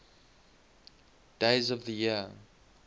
days of the year